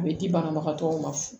A bɛ di banabagatɔw ma